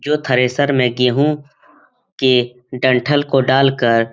जो ठरेसर में गेहूं के डंठल को डालकर --